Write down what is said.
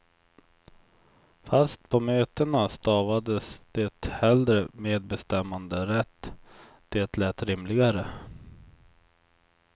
Fast på mötena stavades det hellre medbestämmanderätt, det lät rimligare.